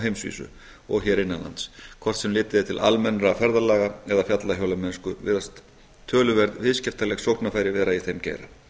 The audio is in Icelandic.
heimsvísu og hér innan lands hvort sem litið er til almennra ferðalaga eða fjallahjólamennsku virðast töluverð viðskiptaleg sóknarfæri vera í þeim geira